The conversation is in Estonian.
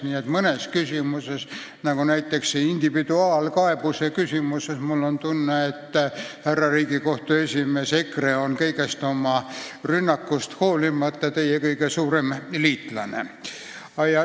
Nii et mõnes küsimuses – näiteks võib tuua individuaalkaebuse küsimuse –, härra Riigikohtu esimees, on mul tunne, et EKRE on kogu sellest rünnakust hoolimata teie kõige suurem liitlane.